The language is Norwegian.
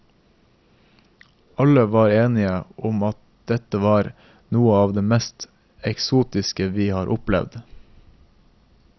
Alle var enige om att dette var noe av det mest eksotiske vi har opplevd.